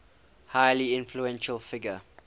highly influential figure